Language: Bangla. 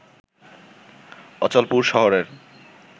অচলপুর শহরের